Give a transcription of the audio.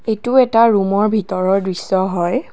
এইটো এটা ৰুমৰ ভিতৰৰ দৃশ্য হয়।